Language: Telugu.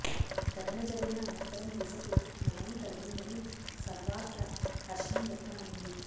ఘటన జరిగిన అనంతరం దిశకు న్యాయం కలిగిందని సర్వాత్ర హర్షం వ్యక్తమయింది